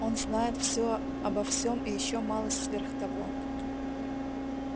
он знает все обо всем и ещё малость сверх того